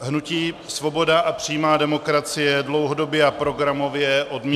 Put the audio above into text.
Hnutí Svoboda a přímá demokracie dlouhodobě a programově odmítá -